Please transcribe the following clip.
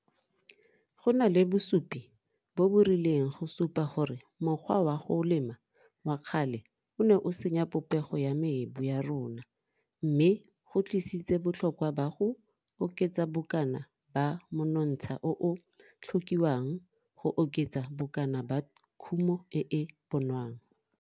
Go na le bosupi bo bo rileng go supa gore mokgwa wa go lema wa kgale o ne o senya popego ya mebu ya rona mme go tlisitseng botlhokwa ba go oketsa bokana ba monontsha o o tlhokiwang go oketsa bokana ba kumo e e bonwang.